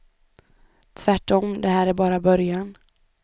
Tvärtom, det här är bara början.